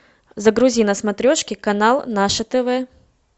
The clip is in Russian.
загрузи на смотрешке канал наше тв